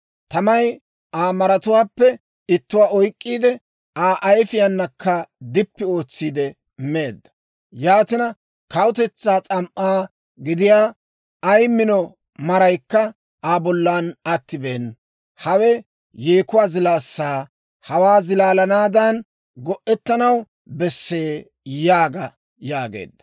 Tamay Aa maratuwaappe ittuwaa oyk'k'iide, Aa ayifiyaanakka dippi ootsiide meedda. Yaatina, kawutetsaa s'am"aa gidiyaa, ay mino maraykka Aa bollan attibeena. « ‹Hawe yeekuwaa zilaassaa; hawaa zilaassaadan go'ettanaw bessee› yaaga» yaageedda.